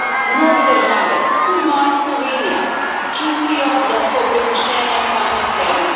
Mnoge države, tudi moja Slovenija, čutijo, da so prepuščene same sebi.